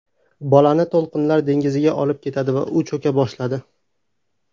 Bolani to‘lqinlar dengizga olib ketdi va u cho‘ka boshladi.